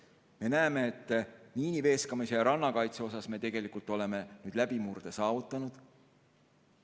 Me näeme, et miiniveeskamise ja rannakaitse puhul oleme tegelikult läbimurde saavutanud.